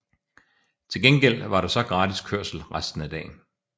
Til gengæld var der så gratis kørsel resten af dagen